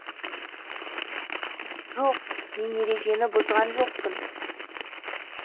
жоқ мен ережені бұзған жоқпын